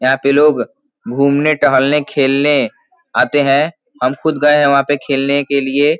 यहां पे लोग घूमने टहलने खेलने आते हैं हम खुद गए हैं वहां पे खेलने के लिए --